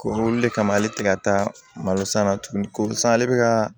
Ko olu de kama ale tɛ ka taa malosan na tuguni ko san ale bɛ ka